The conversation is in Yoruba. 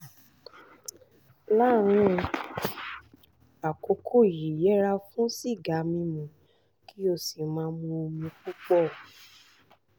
láàárín àkókò yìí yẹra fún sìgá mímu kí o sì máa mu omi púpọ̀